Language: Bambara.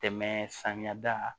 Tɛmɛ samiya da